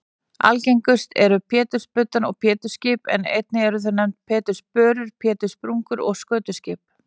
Algengust eru pétursbudda og pétursskip en einnig eru þau nefnd pétursbörur, péturspungur og skötuskip.